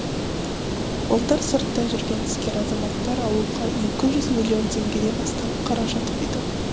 былтыр сыртта жүрген іскер азаматтар ауылға екі жүз миллион теңгеден астам қаражат құйды